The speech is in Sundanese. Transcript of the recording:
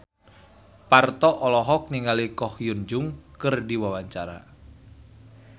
Parto olohok ningali Ko Hyun Jung keur diwawancara